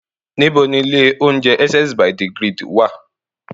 Níbo ni ilé-oúnjẹ Essence by the Grid wá à?